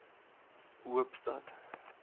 hoopstad